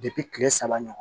kile saba ɲɔgɔn